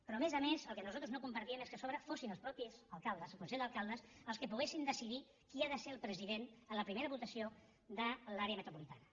però a més a més el que nosaltres no compartíem és que a sobre fossin els propis alcaldes el consell d’alcaldes els que poguessin decidir qui ha de ser el president en la primera votació de l’àrea metropolitana